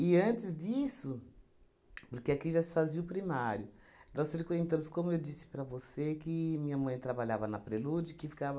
antes disso, porque aqui já se fazia o primário, nós frequentamos, como eu disse para você, que minha mãe trabalhava na Prelude, que ficava